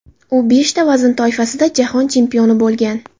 U beshta vazn toifasida jahon chempioni bo‘lgan.